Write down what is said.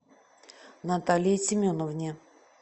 наталье семеновне